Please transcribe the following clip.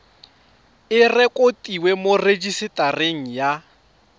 e rekotiwe mo rejisetareng ya